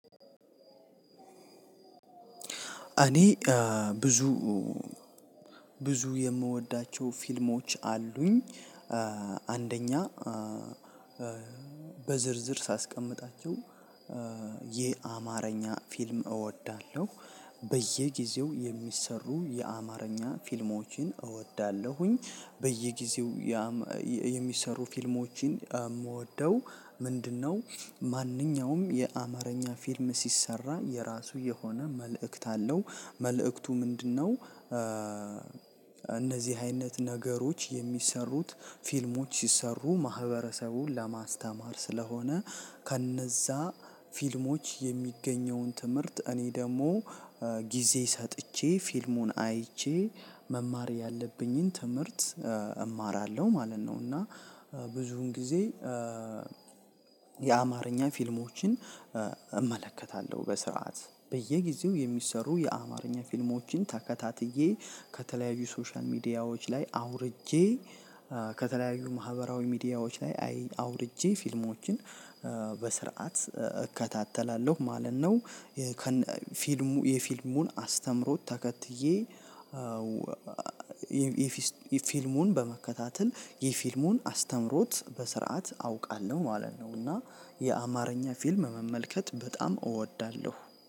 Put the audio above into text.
እኔ ብዙ ብዙ የምወዳቸው ፊልሞች አሉኝ። አንደኛ በዝርዝር ሳስቀምጣቸው የአማርኛ ፊልም እወዳለው፤ በየጊዜው የሚሰሩ የአማርኛ ፊልሞችን እወዳለሁኝ። በየጊዜው የሚሰሩ ፊልሞችን የምወደው ምንድነው? ማንኛውም የአማርኛ ፊልም ሲሰራ የራሱ የሆነ መልእክት አለው፤ መልእክቱ ምንድነው? እነዚህ አይነት ነገሮች የሚሰሩት ፊልሞች ሲሰሩ ማህበረሰቡን ለማስተማር ስለሆነ ከነዛ ፊልሞች የሚገኘውን ትምህርት እኔ ደግሞ ጊዜ ሰጥቼ ፊልሙን አይቼ መማር ያለብኝን ትምህርት እማራለው ማለት ነው። እና ብዙን ጊዜ የአማርኛ ፊልሞችን እመለከታለው በስርዓት። በየጊዜው የሚሰሩ የአማርኛ ፊልሞችን ተከታትዬ ከተለያዩ ሶሻል ሚዲያዎች ላይ አውርጄ ከተለያዩ ማህበራዊ ሚዲያዎች ላይ አውርጄ ፊልሞችን በስርዓት እከታተላለሁ ማለት ነው። ፊልሙ የፊልሙን አስተምሮት ተከትዬ የፊልሙን በመከታተል የፊልሙን አስተምሮት በስርዓት አውቃለሁ ማለት ነው። እና የአማርኛ ፊልም መመልከት በጣም እወዳለሁ